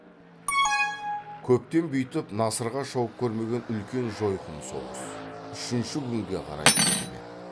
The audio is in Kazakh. көптен бүйтіп насырға шауып көрмеген үлкен жойқын соғыс үшінші күнге қарай кетіп еді